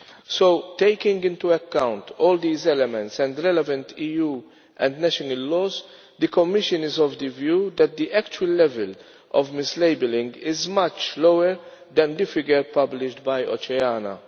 So taking into account all these elements and the relevant EU and national laws, the Commission is of the view that the actual level of mislabelling is much lower than the figure published by Oceana.